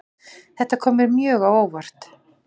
Þetta kom mér mjög á óvart